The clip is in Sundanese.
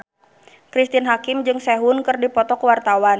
Cristine Hakim jeung Sehun keur dipoto ku wartawan